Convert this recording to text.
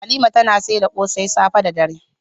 Halima tana saida kose safe da dare.